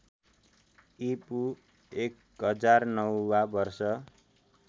ईपू १००९ वा वर्ष